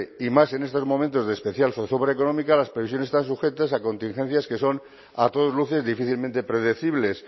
y más en estos momentos de especial zozobra económica las previsiones están sujetas a contingencias que son a todas luces difícilmente predecibles